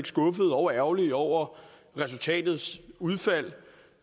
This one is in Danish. skuffede og ærgerlige over resultatet